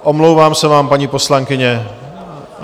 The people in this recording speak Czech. Omlouvám se vám, paní poslankyně.